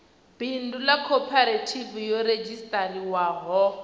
bindu ḽa khophorethivi yo redzhisiṱarisiwaho